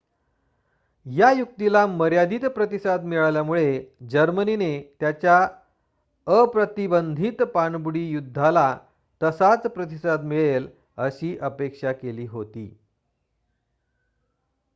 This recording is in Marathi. या युक्तीला मर्यादीत प्रतिसाद मिळाल्यामुळे जर्मनीने त्याच्या अप्रतिबंधित पाणबुडी युद्धाला तसाच प्रतिसाद मिळेल अशी अपेक्षा केली होती